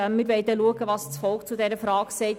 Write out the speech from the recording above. Wir werden sehen, was das Volk zu dieser Frage sagt.